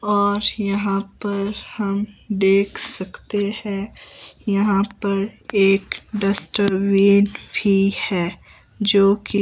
और यहां पर हम देख सकते है यहां पर एक डस्टबिन भी है जो कि --